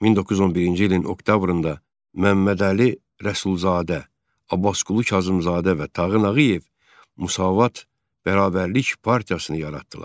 1911-ci ilin oktyabrında Məmmədəli Rəsulzadə, Abbasqulu Kazımzadə və Tağı Nağıyev Müsavat bərabərlik partiyasını yaratdılar.